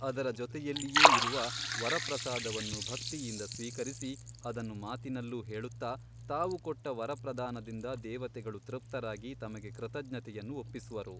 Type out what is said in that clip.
ಅದರ ಜೊತೆಯಲ್ಲಿಯೇ ಇರುವ ವರಪ್ರಸಾದವನ್ನು ಭಕ್ತಿಯಿಂದ ಸ್ವೀಕರಿಸಿ ಅದನ್ನು ಮಾತಿನಲ್ಲೂ ಹೇಳುತ್ತ ತಾವು ಕೊಟ್ಟ ವರಪ್ರದಾನದಿಂದ ದೇವತೆಗಳು ತೃಪ್ತರಾಗಿ ತಮಗೆ ಕೃತಜ್ಞತೆಯನ್ನು ಒಪ್ಪಿಸುವರು.